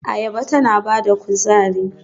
Ayaba tana ba da kuzari.